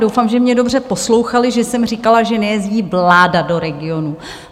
Doufám, že mě dobře poslouchali, že jsem říkala, že nejezdí vláda do regionů.